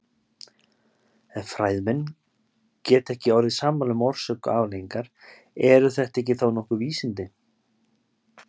Ef fræðimenn geta ekki orðið sammála um orsök og afleiðingar, eru þetta þá nokkuð vísindi?